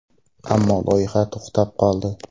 Ammo loyiha to‘xtab qoldi.